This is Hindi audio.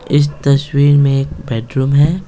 इस तस्वीर में एक बेडरूम है।